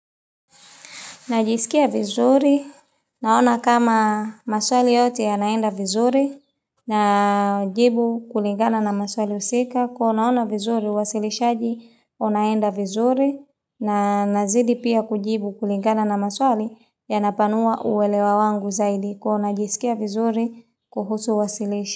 Najisikia vizuri, naona kama maswali yote yanaenda vizuri, na jibu kulingana na maswali husika, kuwa ona ona vizuri uwasilishaji, unaenda vizuri, na nazidi pia kujibu kulingana na maswali ya napanua uwelewa wangu zaidi, kwa ona jisikia vizuri kuhusu uwasilishi.